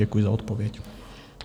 Děkuji za odpověď.